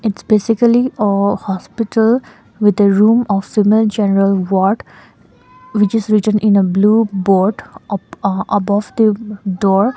it's basically a hospital with the room of female general ward which is written in a blue board up uh above the door.